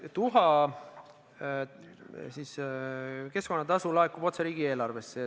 Tuhaga seotud keskkonnatasu laekub otse riigieelarvesse.